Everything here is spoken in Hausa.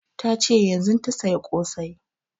Ta ce yanzun ta saya ƙosai